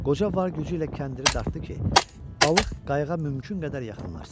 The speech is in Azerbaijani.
Qoca var gücü ilə kəndiri dartdı ki, balıq qayığa mümkün qədər yaxınlaşsın.